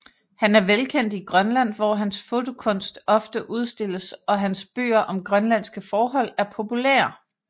Han er velkendt i Grønland hvor hans fotokunst ofte udstilles og hans bøger om grønlandske forhold er populære